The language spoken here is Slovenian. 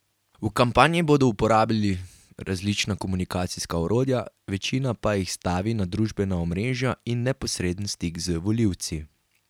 V kampanji bodo uporabljali različna komunikacijska orodja, večina pa jih stavi na družbena omrežja in neposreden stik z volivci.